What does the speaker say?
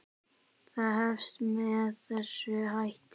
Það hefst með þessum hætti